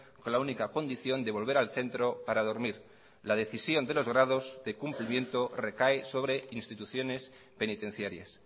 con la única condición de volver al centro para dormir la decisión de los grados de cumplimiento recae sobre instituciones penitenciarias